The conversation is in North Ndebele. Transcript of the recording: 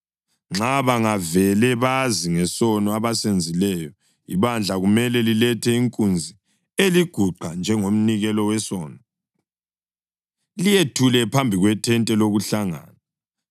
Nxa bangavele bazi ngesono abasenzileyo, ibandla kumele lilethe inkunzi eliguqa njengomnikelo wesono, liyethule phambi kwethente lokuhlangana.